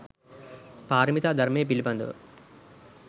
පාරමිතා ධර්මය පිළිබඳව